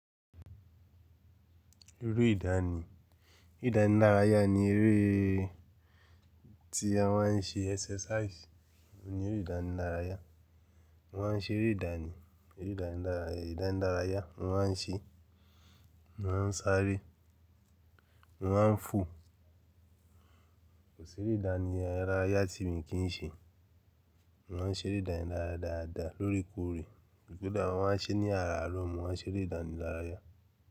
Eré ìdáni, eré ìdánilárayá ni eré tí a ma ń ṣe exercise ni eré ìdánìlárayá. Mo ma ń ṣe eré ìdáni, eré ìdánilára, ìdánilárayá mo ma ń ṣe é, mo ma ń sáré, mo ma ń fò. Kò sí irú ìdánilárayá tí mi ì kí í ṣe. Mo ma ń ṣe eré ìdániláraya dáadáa lóòrèkóòrè. Kódà mo ma ń ṣe é ní àràárọ̀ mo ma ń ṣe eré ìdánilárayá.